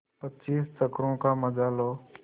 पच्चीस चक्करों का मजा लो